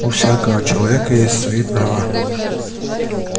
у всякого человека есть свои права